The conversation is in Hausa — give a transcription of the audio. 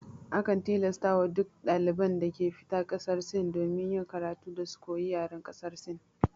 Akan tilasta wa duk daliban da ke fita ƙasar Sin domin yin karatu, da su koyi yaren ƙasar Sin